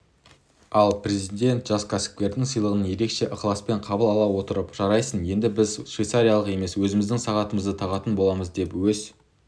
ал президент жас кәсіпкердің сыйлығын ерекше ықыласпен қабыл ала отырып жарайсың енді біз швейцарлық емес өзіміздің сағатымызды тағатын боламыз деп өз